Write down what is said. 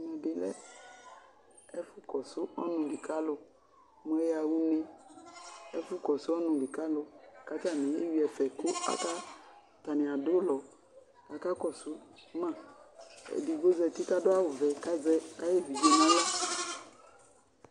Ɛfʋ kɔsʋ ɔnʋli ka alu mʋ ɛyaɣa une Ɛfʋ kɔsʋ ɔnuli ka alu kʋ atanɩ le eyʋɩ ɛfɛ, kʋ atanɩ adʋ ʋlɔ Aka kɔsʋ maEdigbo zǝtɩ kʋ adʋ awʋvɛ, kʋ azɛ ayʋ evidze nʋ aɣla